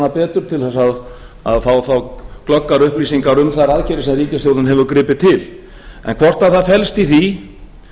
hana betur til þess að fá þá glöggar upplýsingar um þær aðgerðir sem ríkisstjórnin hefur gripið til en hvort að það felst í því